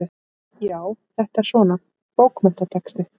Já, þetta er svona. bókmenntatexti.